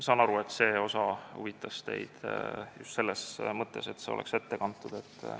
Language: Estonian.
Saan aru, et see osa huvitas teid just selles mõttes, et see oleks ette kantud.